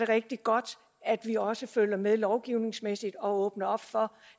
rigtig godt at vi også følger med lovgivningsmæssigt og åbner for